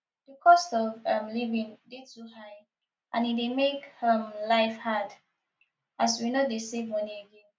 di cost of um living dey too high and e dey make um life hard as we no dey save money again